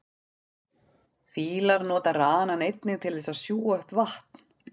fílar nota ranann einnig til þess að sjúga upp vatn